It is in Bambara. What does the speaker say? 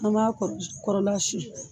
An m'a kɔrɔ kɔrɔla siyɛn.